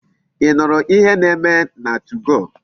Ị nụrụ ihe na-eme na 2go?